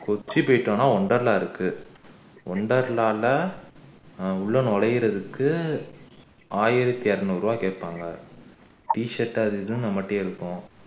கொச்சி போயிட்டோம்னா wonder la இருக்கு ஒண்டல்லால ஆஹ் உள்ள நுழையுறதுக்கு ஆயிரத்து அறுநூறு ரூபாய் கேப்பாங்கா t shirt அது இதுன்னு நம்மட்டேயே இருக்கும்